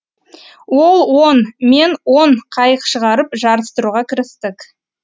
ол он мен он қайық шығарып жарыстыруға кірістік